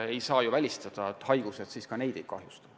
Ei saa ju välistada, et haigused kultuurpuistut ei kahjusta.